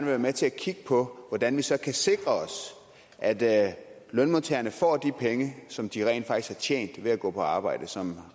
være med til at kigge på hvordan vi så kan sikre os at lønmodtagerne får de penge som de rent faktisk har tjent ved at gå på arbejde og som